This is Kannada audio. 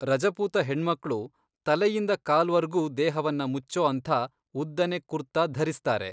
ರಜಪೂತ ಹೆಣ್ಮಕ್ಳು ತಲೆಯಿಂದ ಕಾಲ್ವರ್ಗೂ ದೇಹವನ್ನ ಮುಚ್ಚೋ ಅಂಥ ಉದ್ದನೆ ಕುರ್ತಾ ಧರಿಸ್ತಾರೆ.